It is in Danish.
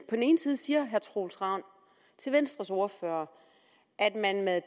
den ene side siger herre troels ravn til venstres ordfører at man med